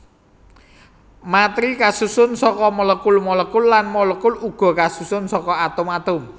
Matèri kasusun saka molekul molekul lan molekul uga kasusun saka atom atom